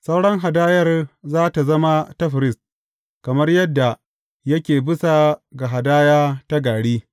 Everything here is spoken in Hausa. Sauran hadayar za tă zama ta firist, kamar yadda yake bisa ga hadaya ta gari.’